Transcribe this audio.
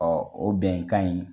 o bɛnkan in